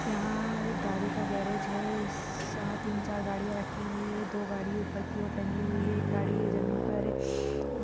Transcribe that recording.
यहाँ एक गाड़ी का गैरेज है सात तीन चार गाड़िया रखी हुई है दो गाड़ी ऊपर की और टंगी हुई है एक गाड़ी है जमीन पर अ--